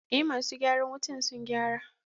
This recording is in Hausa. eh masu gyaran wutan sun gyara.